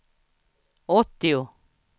åttio